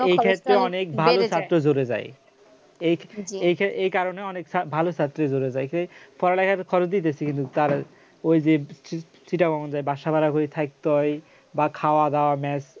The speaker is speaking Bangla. এক্ষেত্রে অনেক ভালো ছাত্র জুড়ে যায় এই কারণে অনেক ভালো ছাত্রী জুড়ে যায় পড়ালেখার খরচই বেশি কিন্তু তার ওই যে set up অমন যে বাসা ভাড়া হয়ে থাকতে হয় বা খাওয়া-দাওয়া match